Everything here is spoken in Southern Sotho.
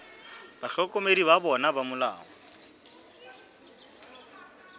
bahlokomedi ba bona ba molao